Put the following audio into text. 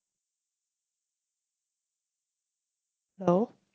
hello